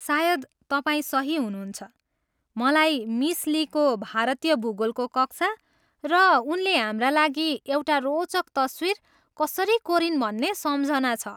सायद तपाईँ सही हुनुहुन्छ! मलाई मिस लीको भारतीय भूगोलको कक्षा र उनले हाम्रा लागि एउटा रोचक तस्वीर कसरी कोरिन् भन्ने सम्झना छ।